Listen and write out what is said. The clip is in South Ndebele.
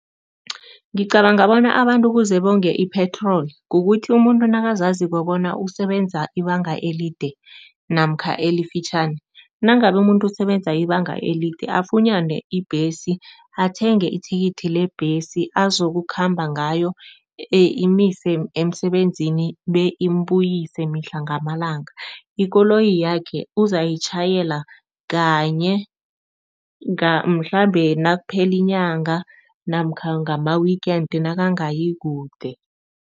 Ngicabanga bona abantu kuze bonge i-petrol, kukuthi umuntu nakazazi bona usebenza ibanga elide namkha elifitjhani, nangabe umuntu usebenza ibanga elide afunyane ibhesi athenge ithikithi lebhesi azokukhamba ngayo imise emsebenzini beyimbuyise mihla ngamalanga. Ikoloyi yakhe uzayitjhayela kanye mhlambe nakuphela inyanga namkha ngama-weekend nakangayi kude.